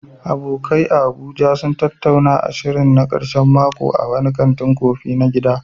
Abokai a Abuja sun tattauna shirinsu na karshen mako a wani kantin kofi na gida.